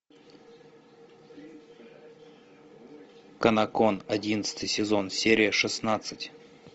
канокон одиннадцатый сезон серия шестнадцать